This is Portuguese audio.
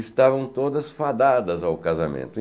Estavam todas fadadas ao casamento.